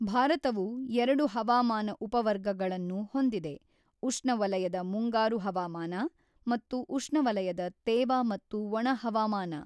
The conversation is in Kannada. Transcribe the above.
ಭಾರತವು ಎರಡು ಹವಾಮಾನ ಉಪವರ್ಗಗಳನ್ನು ಹೊಂದಿದೆ ಉಷ್ಣವಲಯದ ಮುಂಗಾರು ಹವಾಮಾನ ಮತ್ತು ಉಷ್ಣವಲಯದ ತೇವ ಮತ್ತು ಒಣ ಹವಾಮಾನ.